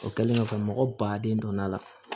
O kɛlen kɔfɛ mɔgɔ baden donna a la